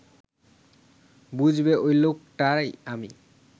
বুঝবে ওই লোকটাই আমি